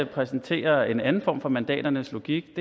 præsentere en anden form for mandaternes logik